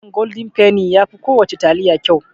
Taliyan goldin feni yafi kowana taliya kyau.